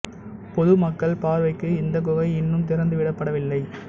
பொது மக்கள் பார்வைக்கு இந்தக் குகை இன்னும் திறந்து விடப் படவில்லை